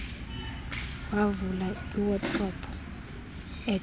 wavula iwadrobe ejonga